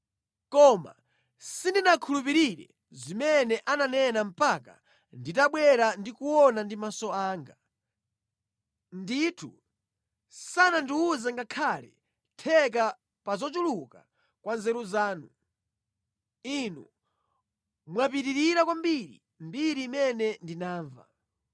Koma sindinakhulupirire zimene ankanena mpaka nditafika ndi kuona ndi maso anga. Kunena zoona sanandiwuze ngakhale theka lomwe la kuchuluka kwa nzeru zanu, pakuti zaposa zimene ndinamva.